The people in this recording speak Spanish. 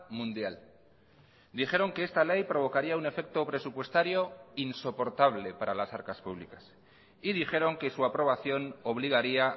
mundial dijeron que esta ley provocaría un efecto presupuestario insoportable para las arcas públicas y dijeron que su aprobación obligaría